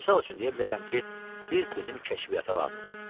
Misal üçün deyə bilərəm ki, siz bizim kəşfiyyata lazımsınız.